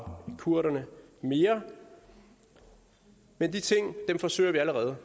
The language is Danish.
kurderne mere men de ting forsøger vi allerede